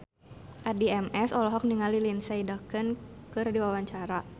Addie MS olohok ningali Lindsay Ducan keur diwawancara